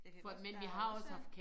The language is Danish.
Jeg kan godt der også øh